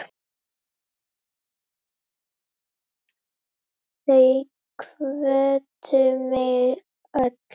Þau hvöttu mig öll.